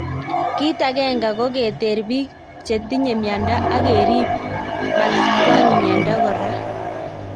Kit ange ko keter pik cheng tinge miando ak kerip matakwang miando kora